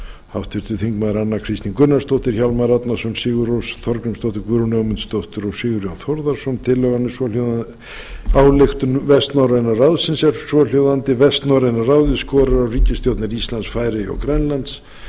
háttvirtir þingmenn anna kristín gunnarsdóttir hjálmar árnason sigurrós þorgrímsdóttir guðrún ögmundsdóttir og sigurjón þórðarson tillagan er svo hljóðandi ályktun vestnorræna ráðsins er svohljóðandi vestnorræna ráðið skorar á ríkisstjórnir íslands færeyja og grænlands